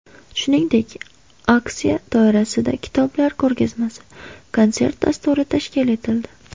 Shuningdek, aksiya doirasida kitoblar ko‘rgazmasi, konsert dasturi tashkil etildi.